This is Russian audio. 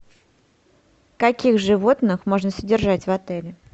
каких животных можно содержать в отеле